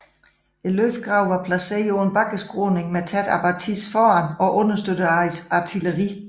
Løbegravene var placeret på en bakkeskråning med tæt abatis foran og understøttet af artilleri